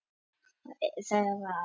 Þefa af hári hans.